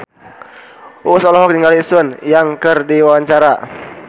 Uus olohok ningali Sun Yang keur diwawancara